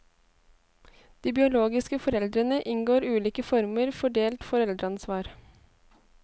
De biologiske foreldrene inngår ulike former for delt foreldreansvar.